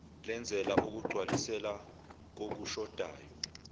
lenzela ukugcwalisela kokushodayo